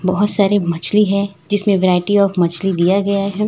बहुत सारी मछली है जिसमें वैरायटी आफ मछली दिया गया है।